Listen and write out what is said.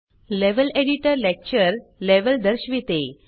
level editor lecture level दर्शविते